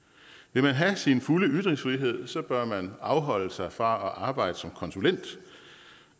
vil man have sin fulde ytringsfrihed bør man afholde sig fra at arbejde som konsulent